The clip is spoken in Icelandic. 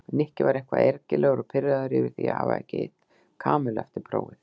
Nikki var eitthvað ergilegur og pirraður yfir því að hafa ekki hitt Kamillu eftir prófið.